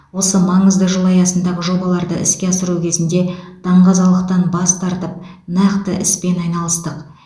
осы маңызды жыл аясындағы жобаларды іске асыру кезінде даңғазалықтан бас тартып нақты іспен айналыстық